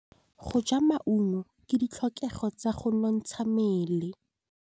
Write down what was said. Go ja maungo ke ditlhokegô tsa go nontsha mmele.